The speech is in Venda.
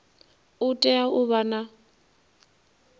u tea u vha na